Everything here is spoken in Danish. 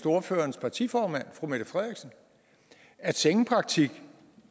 ordførerens partiformand fru mette frederiksen at sengepraktik